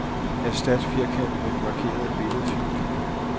Erstat firkant med den markerede billedfil.